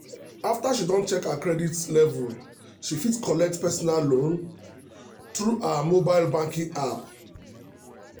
after she don check her credit level she fit collect personal loan through her mobile banking app.